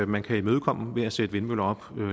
man kan imødekomme ved at sætte vindmøller op